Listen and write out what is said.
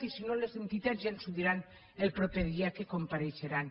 i si no les entitats ja ens ho diran el proper dia que compareixeran